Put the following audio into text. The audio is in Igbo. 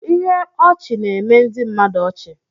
Ihe ọchị na-eme ndị mmadụ ọchị.